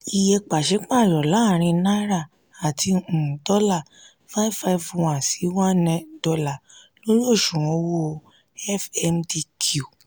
iye pàsípàrọ̀ láàrin náírà àti um dọ́là five five one sí one dollar lórí òṣùwò̀n owó fmdq.